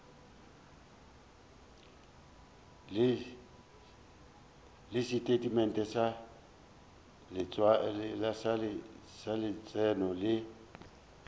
le setatamente sa letseno le